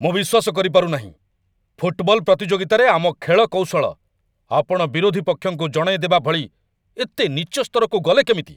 ମୁଁ ବିଶ୍ୱାସ କରିପାରୁ ନାହିଁ, ଫୁଟବଲ ପ୍ରତିଯୋଗିତାରେ ଆମ ଖେଳ କୌଶଳ ଆପଣ ବିରୋଧୀ ପକ୍ଷଙ୍କୁ ଜଣେଇଦେବା ଭଳି ଏତେ ନୀଚ ସ୍ତରକୁ ଗଲେ କେମିତି।